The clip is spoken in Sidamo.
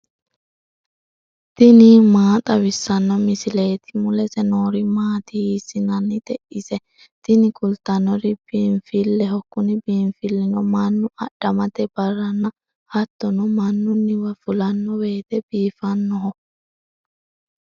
tini maa xawissanno misileeti ? mulese noori maati ? hiissinannite ise ? tini kultannori biinfilleho. kuni biinfillino mannu adhamate barranna hattono mannunniwa fulanno woyte biifannoho.